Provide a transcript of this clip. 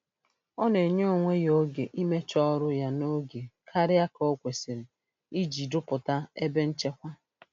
Ọ na-enye onwe ya oge imecha ọrụ ya n'oge karịa ka o kwesịrị iji rụpụta ebe nchekwa.